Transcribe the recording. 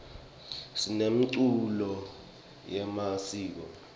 sinemiculo yemasiko